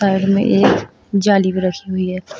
Side में एक जाली बनी हुई है।